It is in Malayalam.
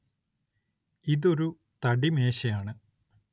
ഇതൊരു തടിമേശയാണ്.